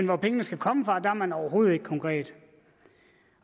hvor pengene skal komme fra er man overhovedet ikke konkret